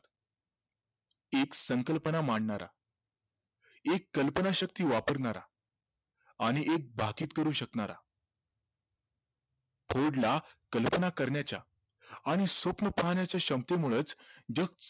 एक संकल्पना मांडणारा एक कल्पनाशक्ती वापरणारा आणि एक करू शकणारा ला कल्पना करण्याच्या आणि स्वप्न पाहण्याच्या क्षमतेमुळंच जग